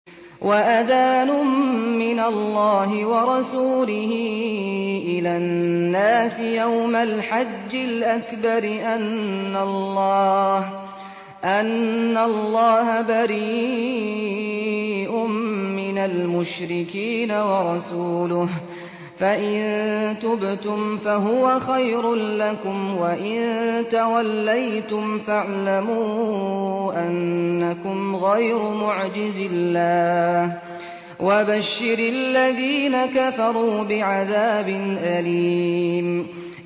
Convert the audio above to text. وَأَذَانٌ مِّنَ اللَّهِ وَرَسُولِهِ إِلَى النَّاسِ يَوْمَ الْحَجِّ الْأَكْبَرِ أَنَّ اللَّهَ بَرِيءٌ مِّنَ الْمُشْرِكِينَ ۙ وَرَسُولُهُ ۚ فَإِن تُبْتُمْ فَهُوَ خَيْرٌ لَّكُمْ ۖ وَإِن تَوَلَّيْتُمْ فَاعْلَمُوا أَنَّكُمْ غَيْرُ مُعْجِزِي اللَّهِ ۗ وَبَشِّرِ الَّذِينَ كَفَرُوا بِعَذَابٍ أَلِيمٍ